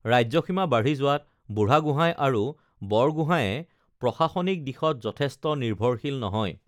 ৰাজ্যসীমা বাঢ়ি যোৱাত বুঢ়াগোঁহাই আৰু বৰগোঁহাইয়ে প্ৰশাসনিক দিশত যথেষ্ট নিৰ্ভৰশীল নহয়